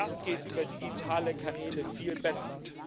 auch das geht über digitale Kanäle viel besser.